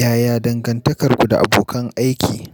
Yaya dangantakarku da abokan aiki?